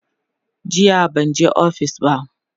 jiya banje ofis ba